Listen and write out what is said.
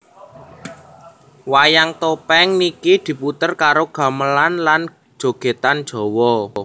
Wayang topeng niki diputer karo gamelan lan jogedan Jawa